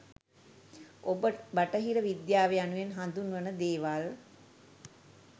ඔබ බටහිර විද්‍යාව යනුවෙන් හදුන්වන දේවල්